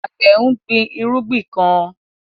Àgbẹ̀ ń gbin irúgbìn kan